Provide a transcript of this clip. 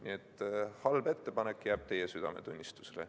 Nii et halb ettepanek jääb teie südametunnistusele.